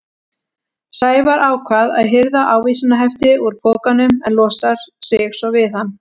Sævar ákvað að hirða ávísanahefti úr pokanum en losa sig svo við hann.